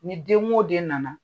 Ni den o den nana.